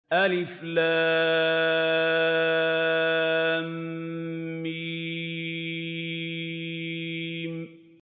الم